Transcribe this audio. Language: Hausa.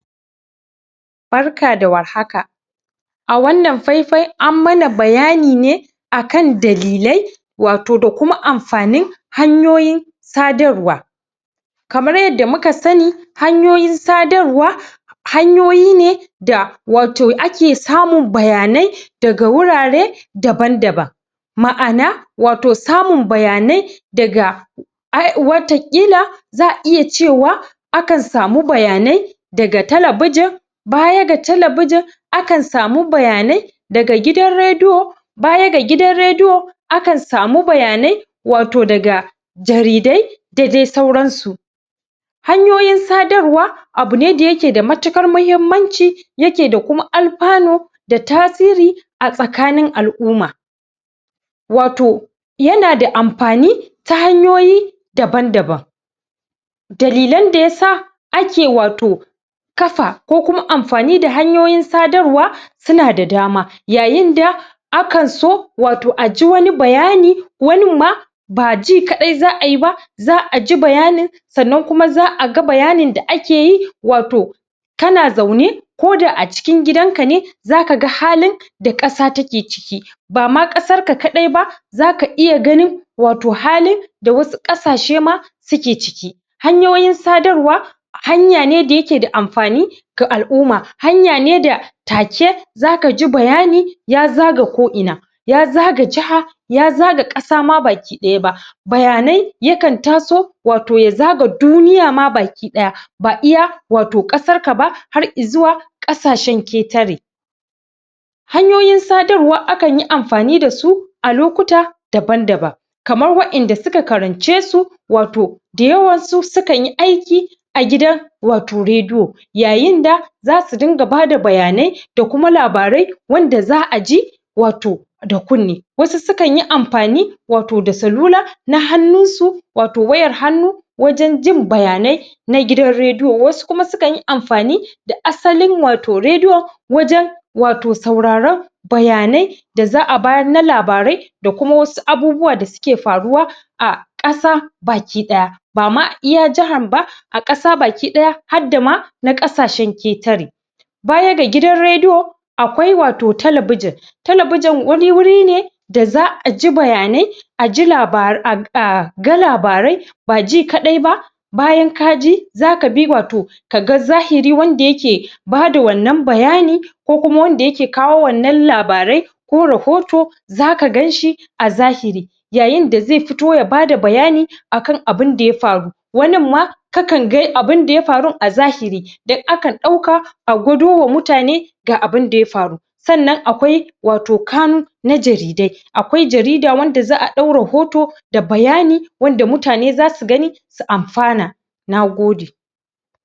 Barka da warhaka a wannan faifai ammana bayani ne akan dalilai wato dakuma amfanin hanyoyin sadarwa kamar yadda muka sani hanyoyin sadarwa hanyoyi ne da wato ake samun bayanai daga wurare daban daban ma ana wato samun bayanai daga wata ƙila za a iya cewa akan samu bayanai daga tala bujin baya ga tala bujin akan samu bayanai daga gidan redio baya ga gidan redio akan samu bayanai wato daga jaridai da dai sauran su hanyoyin sadarwa abune da yake da matuƙar mahimmanci yake da kuma alfani da ta siri a tsakani al'umma wato yanasa amfani ta hanyoyi daban daban da lilan da yasa ake wato kafa ko kuma amfani da hanyoyin sadarwa suna da dama yayin da akanso wato aji wani bayani wanin ma ba ji kaɗai za a yiba za aji bayanin sannan kuma za aga bayanin da akeyi wato kana zaune koda acikin gidan kane zakaga halin da ƙasa take ciki bama ƙasarka kaɗai ba zaka iya ganin wato halin da wasu ƙasashema suke ciki hanyoyin sadarwa hanya ne dayeke da amfani ga al'umma hanya ne da take zakaji bayani ya zaga ko ina ya zaga jaha ya zaga ƙasama baki dayama bayanai yakan taso wato yaga duniya ma baki ɗaya ba iya wato ƙasar kab har izuwa ƙasashen ƙetare hanyoyin sadar akanyi amfani dasu a lokuta daban daban kamar wayanda suka karan cesu wato da yawansu sukanyi aiki a gida wato redio yayin da zasu dinga bada bayanai da kuma labarai wanda za aji wato da kunne wasu su kanyi amfani wato da salula na hannun su wato wayan hannu wajan jin bayanai na gidan redio wasu kuma sukanyi amfani da asalin wato redio wajan wato saura ran bayanai daza a bayar na labarai da kuma wasu abubuwa da suke faruwa a ƙasa baki ɗaya bama iya jahar ba a ƙasa baki ɗaya hadda ma na ƙasashen ƙetare baya da gidan redio akwai wato talabijin talabijin wani wurine da za aji bayanai aji labarai aga labarai baji kaɗai ba bayan kaji zakabi wato kaga zahiri wanda yake bada wannan bayani ko kuma wanda yake kawo wanan labarai ko rahoto zaka ganshi a zahiri yayin da ze fito yabada bayani akan abin da yafaru waninma kakan ga abu da yafu a zahiri duk akan ɗauka agudo wa mutane ga abinda yafaru sannan akwai wato kamu na jaridai akwai jarida wanda za a ɗau rahoto da bayani wanda mutane zasu gani su amfana nagode